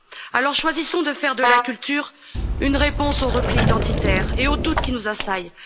Alors choisissons de faire de la culture une réponse au repli identitaire et aux doutes qui nous assaillent.